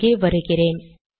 இங்கே வருகிறேன்